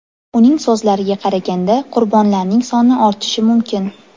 Uning so‘zlariga qaraganda, qurbonlarning soni ortishi mumkin.